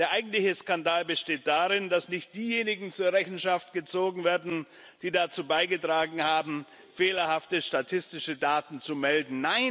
Der eigentliche Skandal besteht darin, dass nicht diejenigen zur Rechenschaft gezogen werden, die dazu beigetragen haben, fehlerhafte statistische Daten zu melden.